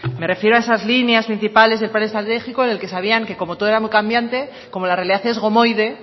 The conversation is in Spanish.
me refiero a esas líneas principales de plan estratégico en el que sabían que como todo era muy cambiante como la realidad es gomoide